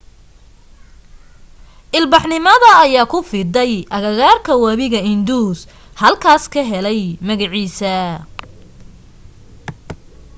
ilbaxnimada ayaa ku fiday agagaarka wabiga indus halkuu ka helay magaciisa